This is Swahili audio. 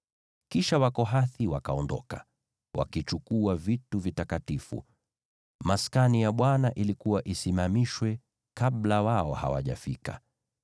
Kisha Wakohathi wakaondoka, wakichukua vitu vitakatifu. Maskani ilikuwa isimamishwe kabla wao hawajafika.